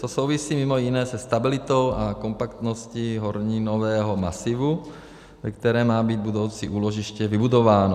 To souvisí mimo jiné se stabilitou a kompaktností horninového masivu, ve kterém má být budoucí úložiště vybudováno.